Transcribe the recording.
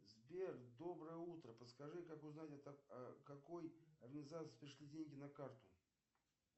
сбер доброе утро подскажи как узнать от какой организации пришли деньги на карту